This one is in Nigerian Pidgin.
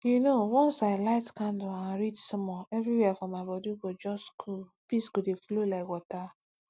you know once i light candle and read small everywhere for my body go body go just cool peace go dey flow like water